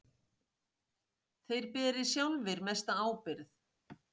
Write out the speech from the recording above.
Þeir beri sjálfir mesta ábyrgð.